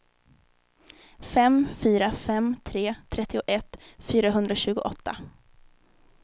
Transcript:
fem fyra fem tre trettioett fyrahundratjugoåtta